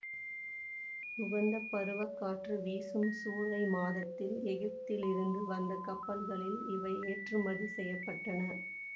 உகந்த பருவக் காற்று வீசும் சூலை மாதத்தில் எகிப்பிலிருந்து வந்த கப்பல்களில் இவை ஏற்றுமதி செய்ய பட்டன